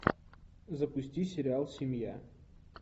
запусти сериал семья